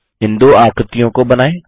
इन दो आकृतियों को बनाएँ